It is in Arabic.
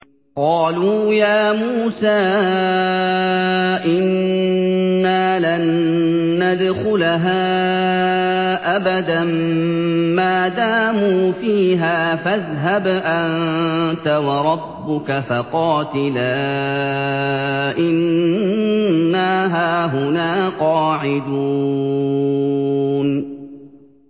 قَالُوا يَا مُوسَىٰ إِنَّا لَن نَّدْخُلَهَا أَبَدًا مَّا دَامُوا فِيهَا ۖ فَاذْهَبْ أَنتَ وَرَبُّكَ فَقَاتِلَا إِنَّا هَاهُنَا قَاعِدُونَ